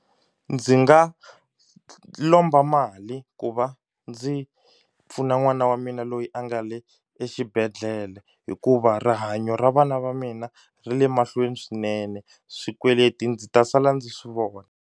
Ndzi nga lomba mali ku va ndzi pfuna n'wana wa mina loyi a nga le exibedhlele hikuva rihanyo ra vana va mina ri le mahlweni swinene swikweleti ndzi ta sala ndzi swi vona.